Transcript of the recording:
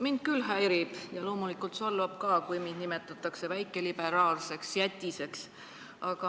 Mind küll häirib ja loomulikult solvab ka, kui mind nimetatakse väikeliberaalseks jätiseks.